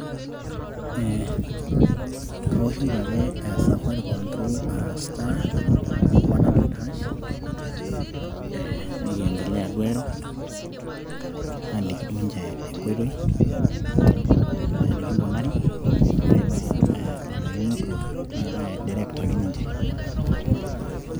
ee kaoshoki ake safaricom through star one hundred hash aa nikiendelea duo airo naaliki duo ninche enkoitoi, enikinkunari, ore paa olaini otua naa kai direct ake ninche.